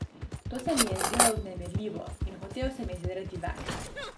To se mi je zdelo vznemirljivo in hotel sem izvedeti več.